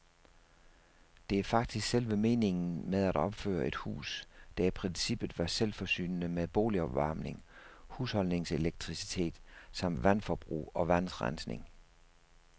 Det var faktisk selve meningen med at opføre et hus, der i princippet var selvforsynende med boligopvarmning, husholdningselektricitet samt vandforbrug og vandrensning.